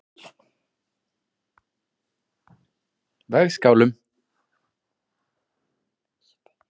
Vegskálum